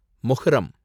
Muharram